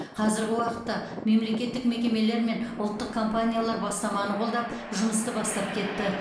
қазіргі уақытта мемлекеттік мекемелер мен ұлттық компаниялар бастаманы қолдап жұмысты бастап кетті